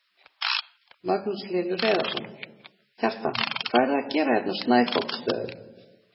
Magnús Hlynur Hreiðarsson: Kjartan hvað eruð þið að gera hérna á Snæfoksstöðum?